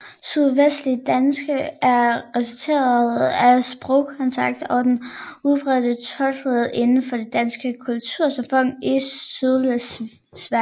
Sydslesvigdansk er resultatet af sprogkontakt og den udbredte tosprogethed inden for det danske kultursamfund i Sydslesvig